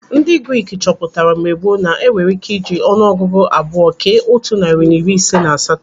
Ndị Grik chọpụtara mgbe gboo na-enwere ike iji ọnụ ọgụgụ abụọ kee otu narị na iri ise na asatọ.